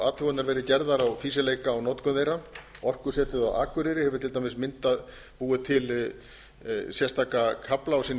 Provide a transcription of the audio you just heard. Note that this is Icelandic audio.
athuganir verið gerðar á fýsileika á notkun þeirra orkusetur á akureyri hefur til dæmis búið til sérstaka kafla á sinni